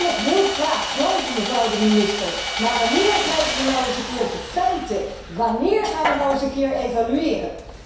Dat wil ik heel graag geloven, mevrouw de minister, maar wanneer krijgen we nou eens een keertje feiten, wanneer gaan we nou eens een keer evalueren.